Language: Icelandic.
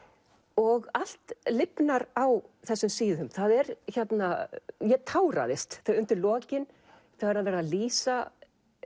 og allt lifnar á þessum síðum ég táraðist undir lokin þegar hann fer að lýsa